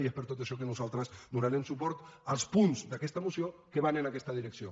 i és per tot això que nosaltres donarem suport als punts d’aquesta moció que van en aquesta direcció